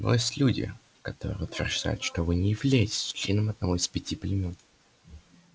но есть люди которые утверждают что вы не являетесь членом одного из пяти племён